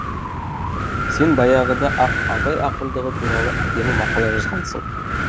сен баяғыда ақ абай ақындығы туралы әдемі мақала жазғансың